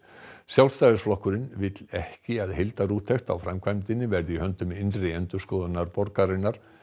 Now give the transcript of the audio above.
Sjálfstæðisflokkurinn vill ekki að heildarúttekt á framkvæmdinni verði í höndum innri endurskoðunar borgarinnar